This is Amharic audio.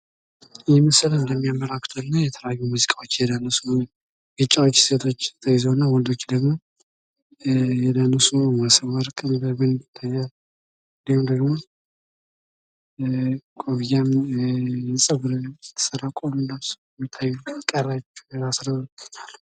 ይህ ምስል እንደሚያመለክተው ከሆነ የተለያዩ ሙዚቃዎች እየደነሱ ነው ፤ ቢጫዎች ሴቶች ተይዘው እና ወንዶች ደሞ እየደነሱ ነው ፤ ሞሰበወርቅ ይታያል ፤ እንዲሁም ደሞ ኮፍያም ጸጉርንም የተሰሩ ቆብም ለብሰው ይታያሉ።